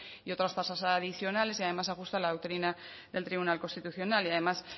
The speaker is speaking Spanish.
y otras tasas adicionales y además se ajusta a la doctrina del tribunal constitucional y además